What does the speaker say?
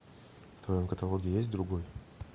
в твоем каталоге есть другой